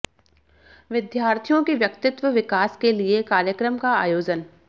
विद्यार्थियों के व्यक्तित्व विकास के लिए कार्यक्रम का आयोजन